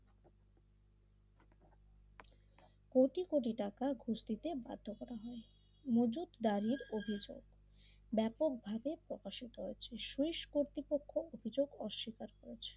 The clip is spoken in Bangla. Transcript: কোটি কোটি টাকা বছরে ঘুষ দিতে বাধ্য করা হয় মজুদ দ্বারের অভিযোগ ব্যাপকভাবে অপসিত হয়েছে শেষ কর্তৃপক্ষ অভিযোগ অস্বীকার করেছে।